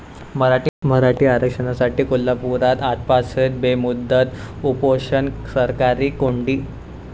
मराठा आरक्षणासाठी कोल्हापुरात आजपासून बेमुदत उपोषण, सरकारची कोंडी